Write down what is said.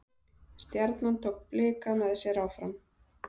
Stjarnan tók Blika með sér áfram